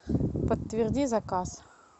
подтверди заказ